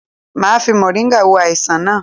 Máa fi moringa wo àìsàn naa